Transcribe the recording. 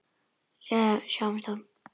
Jæja, við sjáumst þá.